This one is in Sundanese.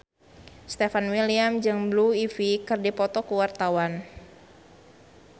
Stefan William jeung Blue Ivy keur dipoto ku wartawan